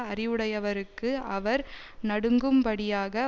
அறிவுடையவர்க்கு அவர் நடுங்கும் படியாக